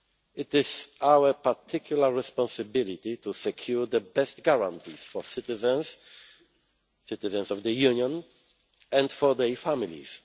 It is our particular responsibility to secure the best guarantees for citizens citizens of the Union and for their families.